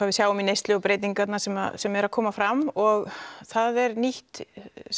við sjáum neyslu og breytingarnar sem sem eru að koma fram og það er nýtt